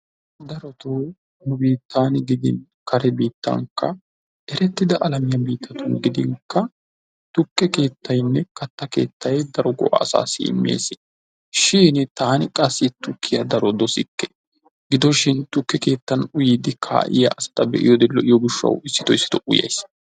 Darotoo nu biittan gidin kare biittankka erettidaa alamiyaa biittatun gidinkka tukke keettaynne kattaa keettay daro go'aa asaassi imees. shin taani qassi tukkiya daro dosikke. Gidoshin tukke keettan uyiyddi kaa'iya asata be'iyode lo''iyo gishshawu issitoo issitoo uyays.